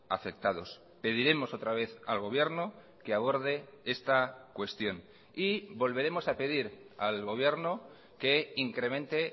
afectados pediremos otra vez al gobierno que aborde esta cuestión y volveremos a pedir al gobierno que incremente